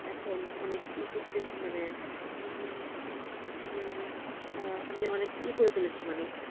এখন অনেক ই করতে মানে আঃ আমি অনেক ইএ করে ফেলেছি মানে